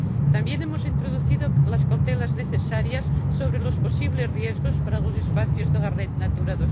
También hemos introducido las cautelas necesarias sobre los posibles riesgos para los espacios de la red Natura